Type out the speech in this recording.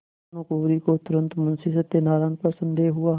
भानुकुँवरि को तुरन्त मुंशी सत्यनारायण पर संदेह हुआ